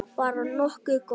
Bara nokkuð gott.